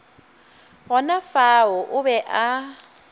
gona fao o be a